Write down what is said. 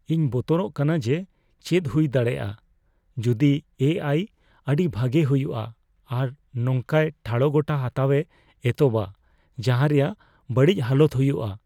ᱤᱧ ᱵᱚᱛᱚᱨᱚᱜ ᱠᱟᱱᱟ ᱡᱮ ᱪᱮᱫ ᱦᱩᱭ ᱫᱟᱲᱮᱭᱟᱜᱼᱟ ᱡᱩᱫᱤ ᱮ ᱟᱭ ᱟᱹᱰᱤ ᱵᱷᱟᱜᱮ ᱦᱩᱭᱩᱜᱼᱟ ᱟᱨ ᱱᱚᱝᱠᱟᱭ ᱴᱷᱟᱲᱚᱜᱚᱴᱟ ᱦᱟᱛᱟᱣᱮ ᱮᱛᱚᱦᱚᱵᱼᱟ ᱡᱟᱦᱟ ᱨᱮᱭᱟᱜ ᱵᱟᱹᱲᱤᱡ ᱦᱟᱞᱚᱛ ᱦᱩᱭᱩᱜᱼᱟ ᱾